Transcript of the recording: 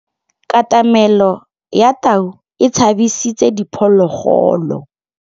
Katamêlô ya tau e tshabisitse diphôlôgôlô.